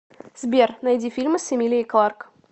сбер найди фильмы с эмилией кларк